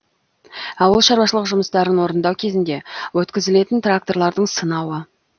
ауыл шаруашылық жұмыстарын орындау кезінде өткізілетін тракторлардың сынауы